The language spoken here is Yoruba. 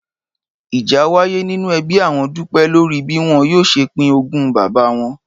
Ìjà wáyé nínú e̩bí àwo̩n Dúpé̩ lórí bí wo̩n yóò s̩e pín ogún bàbá wo̩n